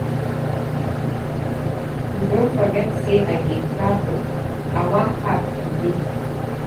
You don forget say I dey travel? I wan pack today